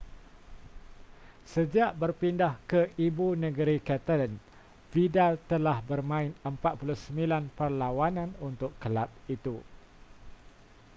sejak berpindah ke ibu negeri catalan vidal telah bermain 49 perlawanan untuk kelab itu